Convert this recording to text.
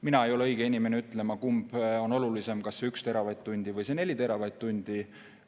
Mina ei ole õige inimene ütlema, kumb on olulisem, kas 1 teravatt-tund või 4 teravatt-tundi.